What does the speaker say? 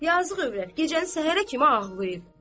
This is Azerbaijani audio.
Yazıq övrət gecəni səhərə kimi ağlayır.